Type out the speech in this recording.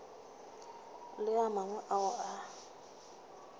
le a mangwe ao a